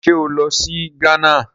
Ṣé ó lọ sí Ghana?